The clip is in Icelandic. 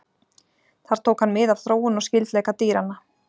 Þar tók hann mið af þróun og skyldleika dýranna.